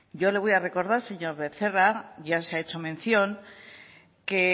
yo le voy a recordar señor becerra ya se ha hecho mención que